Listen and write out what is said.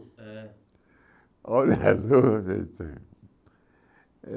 É. O olho azul.